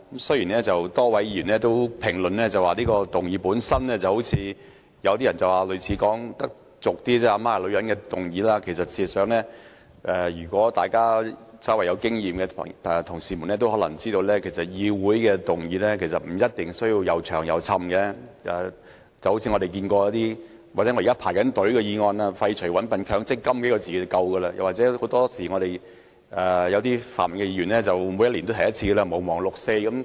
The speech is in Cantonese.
雖然剛才多位議員評論這項議案，說有點俗語所謂"阿媽是女人"的意味，但事實上，稍有經驗的同事也知道，在議會提出的議案不一定要長篇大論，就如其中一項在輪候編配辯論時段的議案："廢除'搵笨'強積金"，寥寥數字便已足夠，又例如泛民議員每年也會提出一項"毋忘六四"的議案。